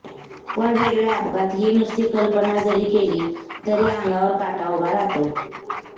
पण रेल्वे अपघात ही नुसती कल्पना जरी केली तरी अंगावर काटा उभा राहतो